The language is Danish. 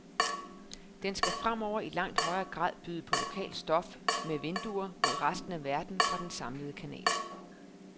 Den skal fremover i langt højere grad byde på lokalt stof med vinduer mod resten af verden fra den samlede kanal.